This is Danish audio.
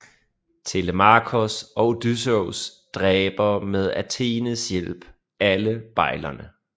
Telemakos og Odysseus dræber med Athenes hjælp alle bejlerne